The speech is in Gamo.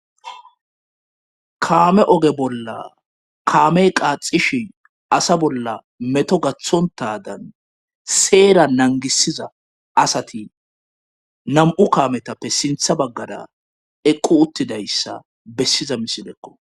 Kaame oge bolla kaamey qaaxishi asa bolla meto gathontadan seera nangisiza asati nam7u kaametappe sintha baggada eqqu uttidayssa bessiza misinekko.